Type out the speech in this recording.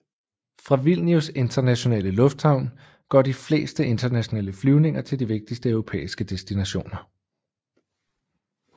Fra Vilnius internationale lufthavn går de fleste internationale flyvninger til de vigtigste europæiske destinationer